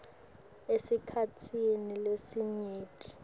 esikhatsini lesinyenti